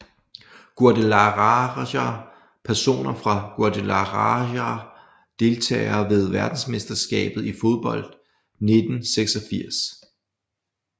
Guadalajara Personer fra Guadalajara Deltagere ved verdensmesterskabet i fodbold 1986